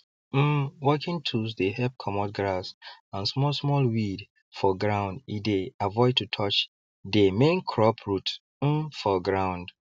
um working tools dey help comot grass and smallsmall weed for ground e dey avoid to touch dey main crop root um for ground